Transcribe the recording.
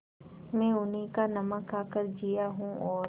मैं उन्हीं का नमक खाकर जिया हूँ और